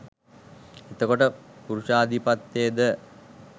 එතකොට පුරුෂාධිපත්තෙද